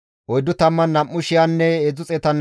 Isttas 736 paratinne 245 baquloti,